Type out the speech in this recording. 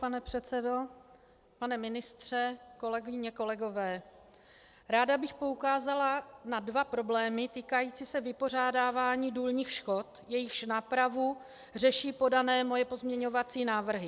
Pane předsedo, pane ministře, kolegyně, kolegové, ráda bych poukázala na dva problémy týkající se vypořádávání důlních škod, jejichž nápravu řeší podané moje pozměňovací návrhy.